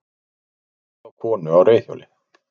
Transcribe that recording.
Ekið á konu á reiðhjóli